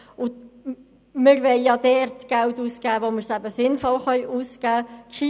Wir wollen dort Geld ausgeben, wo es sinnvoll ausgegeben werden kann.